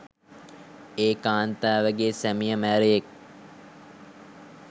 ඒ කාන්තාවගෙ සැමිය මැරයෙක්